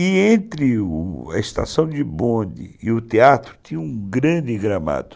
E entre a estação de bonde e o teatro tinha um grande gramado.